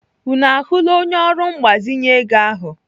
Unu ahụla onye ọrụ mgbazinye ego ahụ?